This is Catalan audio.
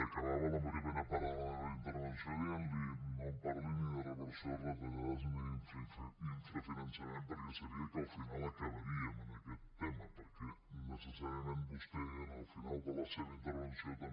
acabava la primera part de la meva intervenció dient li no em parli ni de reversió de retallades ni d’infrafinançament perquè sabia que al final acabaríem en aquest tema perquè necessàriament vostè en el final de la seva intervenció també